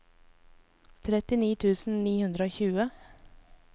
trettini tusen ni hundre og tjue